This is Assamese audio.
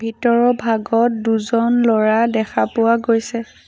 ভিতৰৰ ভাগত দুজন ল'ৰা দেখা পোৱা গৈছে।